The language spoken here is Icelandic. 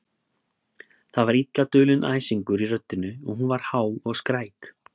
Það var illa dulinn æsingur í röddinni og hún var há og skræk.